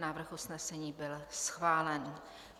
Návrh usnesení byl schválen.